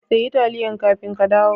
ka siya taliyan kafin ka kadawo.